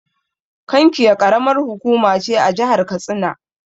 Kankia Ƙaramar hukuma ce a jahar katsina.